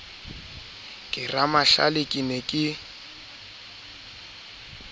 ke ramahlale ke ne ke